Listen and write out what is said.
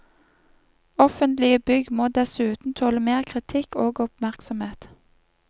Offentlige bygg må dessuten tåle mer kritikk og oppmerksomhet.